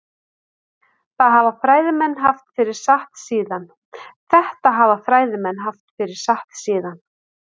Þetta hafa fræðimenn haft fyrir satt síðan.